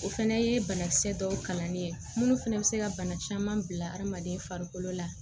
O fɛnɛ ye banakisɛ dɔw kalanni ye minnu fɛnɛ bɛ se ka bana caman bila adamaden farikolo la